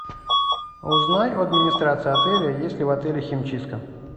узнай у администрации отеля есть ли в отеле химчистка